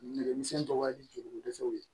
Nɛgɛmisɛnnin tɔgɔ di jeliko dɛsɛw ye